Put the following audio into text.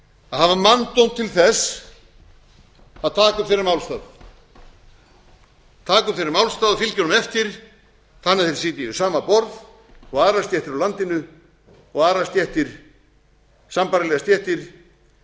að hafa manndóm til þess að taka upp þeirra málstað taka upp þeirra málstað og fylgja honum eftir þannig að þeir sitji við sama borð og aðrar stéttir í landinu og aðrar stéttir sambærilegar stéttir